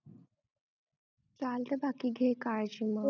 चालतय बाकी घे काळजी मग